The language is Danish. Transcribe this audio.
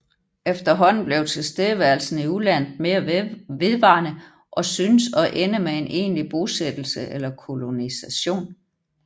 Efterhånden blev tilstedeværelsen i udlandet mere vedvarende og synes at ende med en egentlig bosættelse eller kolonisation